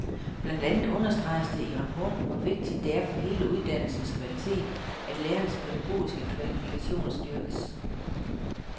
Blandt andet understreges det i rapporten, hvor vigtigt det er for hele uddannelsens kvalitet, at lærernes pædagogiske kvalifikationer styrkes.